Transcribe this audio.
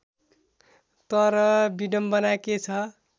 तर विडम्बना के छ